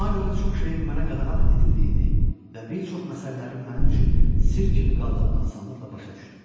Buna görə də çox şeyin mənə qadağan edildiyini və bir çox məsələlərin mənim üçün sirr kimi qaldığını asanlıqla başa düşdüm.